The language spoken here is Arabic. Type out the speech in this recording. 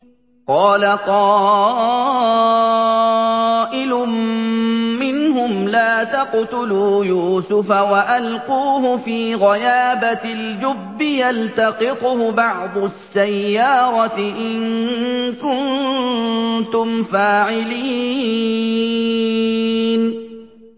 قَالَ قَائِلٌ مِّنْهُمْ لَا تَقْتُلُوا يُوسُفَ وَأَلْقُوهُ فِي غَيَابَتِ الْجُبِّ يَلْتَقِطْهُ بَعْضُ السَّيَّارَةِ إِن كُنتُمْ فَاعِلِينَ